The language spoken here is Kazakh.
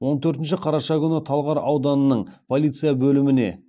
он төртінші қараша күні талғар ауданының полиция бөліміне